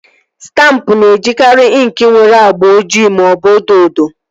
Stampụ na-ejikari inki nwere agba ojii maọbụ odo odo